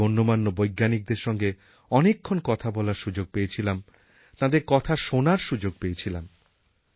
দেশের গণ্যমান্য বৈজ্ঞানিকদের সঙ্গে অনেকক্ষণ কথা বলার সুযোগ পেয়েছিলাম তাঁদের কথা শোনার সুযোগ পেয়েছিলাম